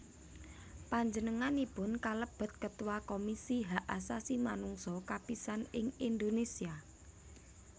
Panjenenganipun kalebet Ketua Komisi Hak Asasi Manungsa kapisan ing Indonésia